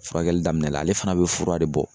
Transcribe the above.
Furakɛli daminɛ la, ale fana be fura de bɔ.